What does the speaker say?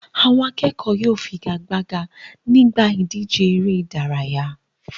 Àwọn akẹ́kọ̀ọ́ yóò figagbága nígbà ìdíje eré-idárayá.